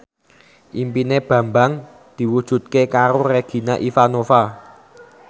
impine Bambang diwujudke karo Regina Ivanova